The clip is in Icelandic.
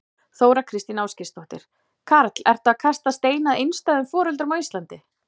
Þóra Kristín Ásgeirsdóttir: Karl, ertu að kasta steini að einstæðum foreldrum á Íslandi?